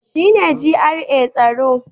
Shi ne GRA tsaro